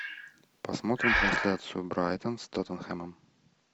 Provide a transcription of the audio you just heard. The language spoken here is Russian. посмотрим трансляцию брайтон с тоттенхэмом